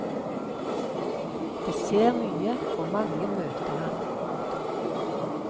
Det skjer mye og mange møter han. punktum